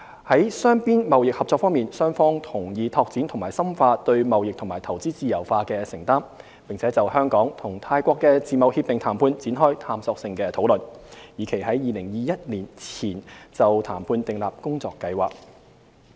在雙邊貿易合作方面，雙方同意拓展和深化對貿易和投資自由化的承擔，並就香港與泰國的自貿協定談判展開探索性討論，以期於2021年前就談判訂立工作計劃。